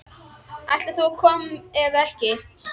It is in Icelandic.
Ætlar þú að koma eða ekki?